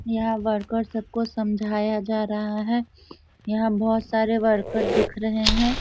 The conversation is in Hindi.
यहाँ वर्कर सब को समझाया जा रहा है। यहाँ बहुत सारे वर्कर दिख रहें हैं।